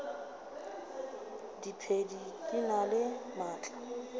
diphedi di na le maatla